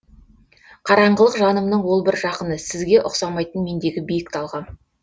қараңғылық жанымнын ол бір жақыны сізге ұқсамайтын мендегі биік талғам